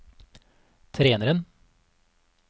treneren